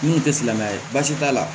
N'u tɛ silamɛya ye baasi t'a la